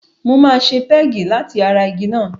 Mo máa ṣe pẹ́ẹ̀gì láti ara igi náà.